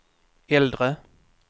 äldre